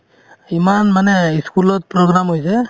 ইমান মানে ই school ত program হৈছে